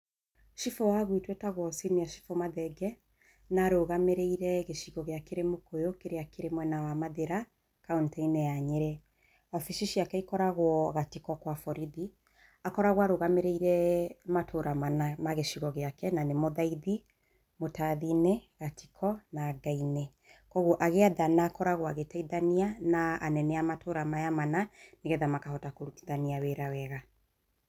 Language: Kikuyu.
Cibũ wa gũitũ etagwo senior cibũ Mathenge. Na arũgamĩrĩire gĩcigo gĩake nĩ Mũkũyũ, kĩria kĩrĩ mwena wa Mathĩra, kaonti ya Nyĩrĩ. Wabici ciake cikoragwo Gatiko kwa-borithi. Akoragũo arũgamĩrĩire matũra mana ma gĩcigo gĩake na nĩmo Thaithi, Mũtathi-inĩ, Gatiko na Ngainĩ. Koguo agĩathana akoragwo agĩteithania na anene a matũra maya mana, nĩgetha makahota kũrutithania wĩra wega.